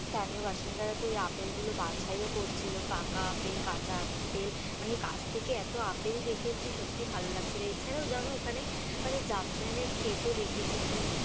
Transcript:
স্থানীয় বাসিন্দারা তো ওই আপেলগুলো বাছাইও করছিলো, পাকা আপেল, কাঁচা আপেল মানে কাছ থেকে এত আপেল দেখেছি সত্যি লাগছে যে, এছাড়াও জানো ওখানে মানে জাফরানের ক্ষেতও দেখেছি মানে।